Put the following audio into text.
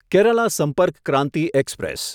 Kerala Sampark Kranti express